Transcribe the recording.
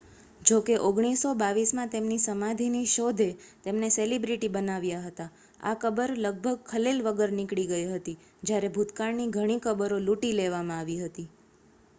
જો કે 1922 માં તેમની સમાધિની શોધે તેમને સેલિબ્રિટી બનાવ્યા હતા આ કબર લગભગ ખલેલ વગર નીકળી ગઈ હતી જ્યારે ભૂતકાળની ઘણી કબરો લૂંટી લેવામાં આવી હતી